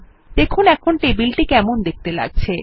দেখুন এখন টেবিলটি কেমন দেখতে লাগছে